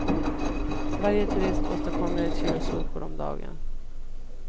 Varje turist åstadkommer ett kilo sopor om dagen.